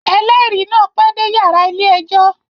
Ẹlẹri náà pẹ dé yàrá ilé-ẹjọ